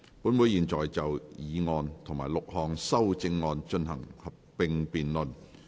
本會現在就議案及6項修正案進行合併辯論。